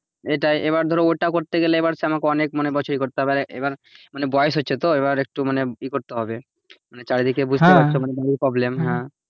হ্যাঁ এবার ধরো ওটা করতে গেলে এবার সে আমাকে অনেক বছর এ করতে হবে আর এবার বয়স হচ্ছে তো এবার একটু মানে এ করতে হবে মানে চারিদিকে বুঝতে পারছো ধর problem